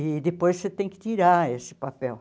E depois você tem que tirar esse papel.